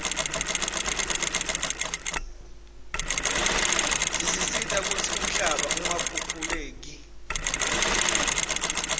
tisita kutsi umhlaba ungakhukhuleiu